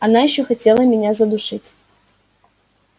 она ещё хотела меня задушить